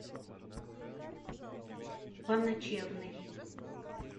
поночевный